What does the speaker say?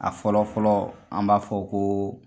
A fɔlɔ fɔlɔ , an b'a fɔ ko